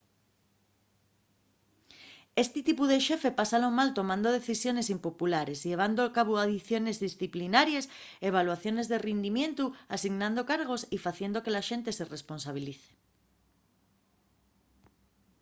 esti tipu de xefe pásalo mal tomando decisiones impopulares llevando a cabu aiciones disciplinaries evaluaciones de rindimientu asignando cargos y faciendo que la xente se responsabilice